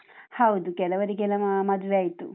ಹೌದು, ಕೆಲವರಿಗೆಲ್ಲ ಮ~ ಮದುವೆ ಆಯ್ತು.